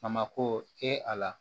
A mako tɛ a la